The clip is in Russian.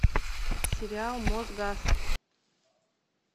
сериал мосгаз